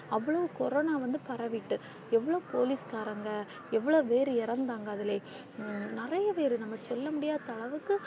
அவ்ளோ கொரோனா வந்து பரவிட்டு எவ்ளோ போலீஸ்காரங்க எவ்ளோ பேர் இறந்தாங்க அதுல நிறையா பேரு நாம சொல்ல முடியாத அளவுக்கு